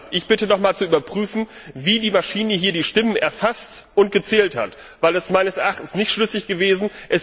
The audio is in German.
Ich bitte noch einmal zu überprüfen, wie die Maschine hier die Stimmen erfasst und gezählt hat, denn das ist meines Erachtens nicht schlüssig gewesen.